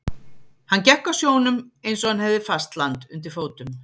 Hann gekk á sjónum eins og hann hefði fast land undir fótum.